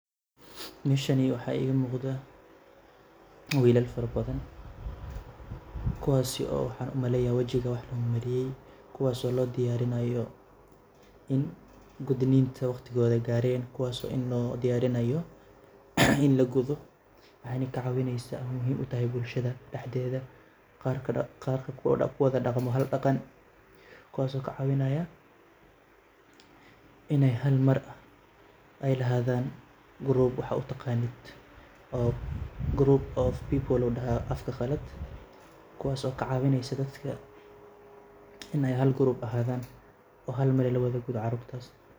Meeshani waxaa iiga muqdaa wiilal farabadan. Kuwaasi oo waxaan u maleya wijiga wax loo mariyay, kuwaas oo loo diyaarinaayo in gudniinta wakhtigooda gaareen kuwaas oo in loo diyaarinayo in lagudo. Waxayna ka caawinaysaa muhiim utahay bulshada dhexdeeda qaarka ku wada dhaqma hal dhaqan kuwaas oo ka caawinaaya inay halmar ai lahaadaan group waxa u taqaanid oo gropu of people uu dhahaa afka qalaad, kuwaas oo ka caawinaysa dadka inay hal group ahaadaan oo hal mar la wada gudo caruurtaas.